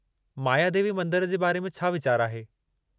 मायादेवी मंदर जे बारे में छा वीचारु आहे?